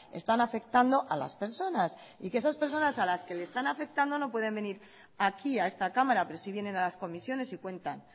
están afectando a las personas y que esas personas a las que le están afectando no pueden venir aquí a esta cámara pero sí vienen a las comisiones y cuentan